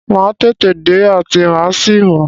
Màá tètè dé àti màá sì mọ́.